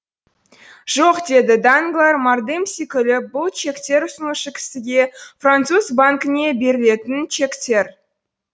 жоқ деді данглар мардымси күліп бұл чектер ұсынушы кісіге француз банкіне берілетін чектер